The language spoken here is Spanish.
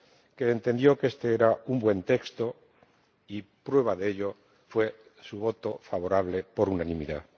que entendió que este era un buen texto y prueba de ello fue su voto favorable por unanimidad.